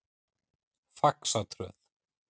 Faxatröð